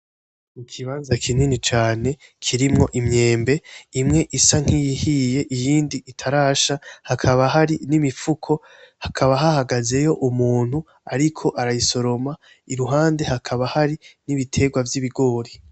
Ikimbaza kinini cane kirimwo imyembe, imwe isa nkiyihiye, iyindi itarasha hakaba hari n'imifuko hakaba hahagazeyo umuntu ariko arayisoroma iruhande hakaba hari n'ibiterwa vy'ibigori.